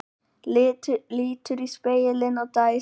Lítur í spegilinn og dæsir.